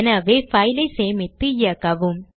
எனவே file ஐ சேமித்து இயக்கவும்